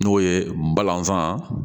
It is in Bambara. N'o ye balanfa